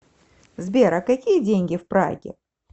сбер а какие деньги в праге